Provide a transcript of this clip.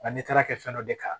Nka n'i taara kɛ fɛn dɔ de kan